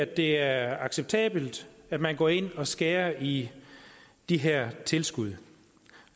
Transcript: det er acceptabelt at man går ind og skærer i de her tilskud